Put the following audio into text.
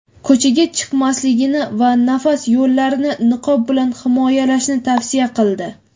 ko‘chaga chiqmasligini va nafas yo‘llarini niqob bilan himoyalashni tavsiya qildi.